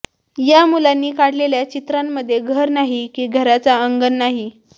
या मुलांनी काढलेल्या चित्रांमध्ये घर नाही की घराचं अंगण नाही